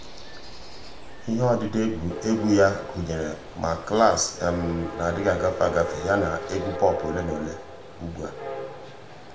ihe ọdịdị égwu yá gụ́nyèrè ma klaasị nà-adị́ghị́ ágafe ágafe yana egwu pọp ole na ole ugbu a.